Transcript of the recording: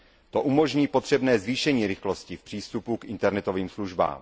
To umožní potřebné zvýšení rychlostí v přístupu k internetovým službám.